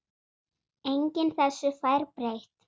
Enginn þessu fær breytt.